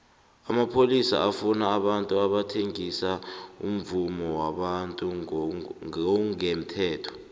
amapholisa afuna abantu abathengisa umvumo wabantu ngongemthetho